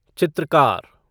चित्रकार